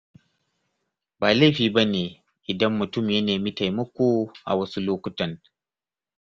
Ba laifi bane idan mutum ya nemi taimako awasu lokutan.